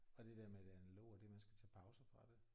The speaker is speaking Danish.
Og det der med det analoge og det man skal tage pauser fra det